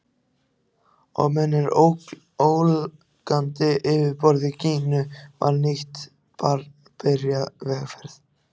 Og undir ólgandi yfirborði Gínu var nýtt barn byrjað vegferð.